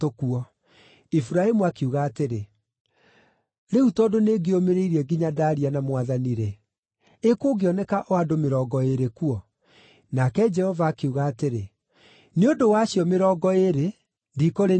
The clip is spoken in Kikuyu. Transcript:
Iburahĩmu akiuga atĩrĩ, “Rĩu tondũ nĩngĩĩũmĩrĩirie nginya ndaaria na Mwathani-rĩ, ĩ kũngĩoneka o andũ mĩrongo ĩĩrĩ kuo?” Nake Jehova akiuga atĩrĩ, “Nĩ ũndũ wa acio mĩrongo ĩĩrĩ, ndikũrĩniina.”